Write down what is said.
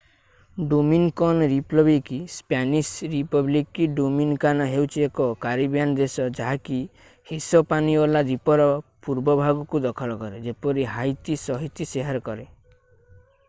Dominican Republic Spanish: Republica Dominicana ହେଉଛି ଏକ Caribbean ଦେଶ ଯାହାକି ହିସପାନିଓଲା ଦ୍ଵୀପର ପୂର୍ବ ଭାଗକୁ ଦଖଲ କରେ ଯେପରି ହାଇତି ସହିତ ସେୟାର୍ କରେ।